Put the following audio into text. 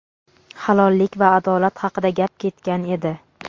halollik va adolat haqida gap ketgan edi.